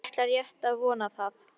Ég ætla rétt að vona það.